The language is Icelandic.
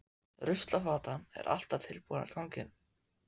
Ruslafatan er alltaf tilbúin í ganginum.